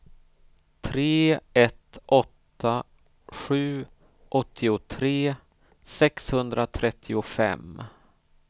tre ett åtta sju åttiotre sexhundratrettiofem